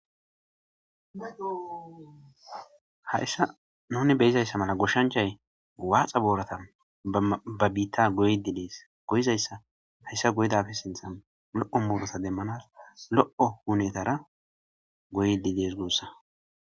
Haysan nuni beyozaysa mala goshanchay waxa borata ba bittan goyidi des goyidaysa haysa goyidaysa sinthan lo'o muruta demana lo'o hunetara goyidi des gusa